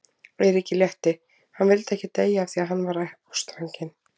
Eiríki létti, hann vildi ekki deyja af því að hann var ástfanginn.